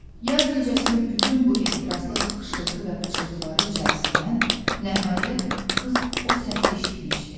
Yaz gecəsinin bütün bu ehtiraslı xışıltı və pıçılıtları içərisindən nəhayət qız o səsi eşitmişdi.